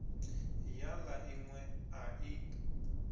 ya la inwe a i